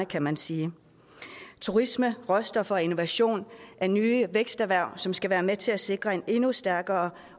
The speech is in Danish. kan man sige turisme råstoffer og innovation er nye væksterhverv som skal være med til at sikre en endnu stærkere